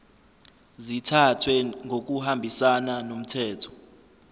zithathwe ngokuhambisana nomthetho